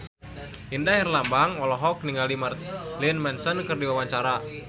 Indra Herlambang olohok ningali Marilyn Manson keur diwawancara